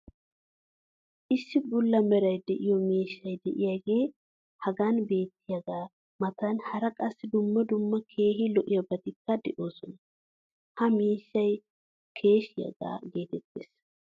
issi bulla meray de'iyo miishshay diyaagee hagan beetiyaagaa matan hara qassi dumma dumma keehi lo'iyaabatikka de'oosona. ha miishshay keeshshiyaa geetettees.